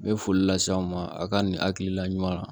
N bɛ foli lase aw ma a ka nin hakilina ɲuman na